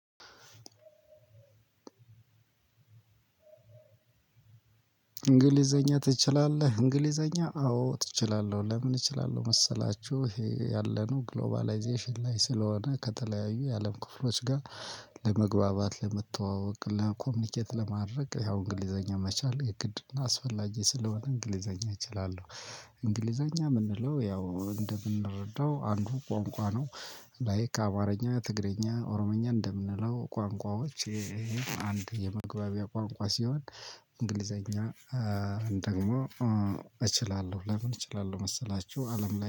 እንግሊዘኛ ትችላለህ እንግሊዘኛ አዎ እችላለህ? ለምን እችላለሁ መሰላችሁ ይሄ ያለነው ግሎባላይዜሽን ላይ ስለሆነ ከተለያዩ የአለም ክፍሎች ጋር። ለመግባባት ለመተዋወቅ ለ ኮሚኒኬት ለማድረግ ያው እንግሊዘኛ መቻል የግድና አስፈላጊ ስለሆነ እንግሊዘኛ እችላለሁ። እንግሊዘኛ የምንለው ያው እንደምንረዳው አንዱ ቋንቋ ነው። ላይክ አማርኛ ትግርኛ ኦሮምኛ እንደምንለው ቋንቋዎች ይሄም የምግባቢያ ቋንቋ ሲሆን። እንግሊዝኛን ደግሞ እችላለሁ ለምን እችላለሁ መሰላችሁ አለም ላይ